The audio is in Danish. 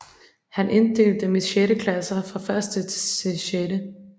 Han inddelte dem i 6 klasser fra 1 til 6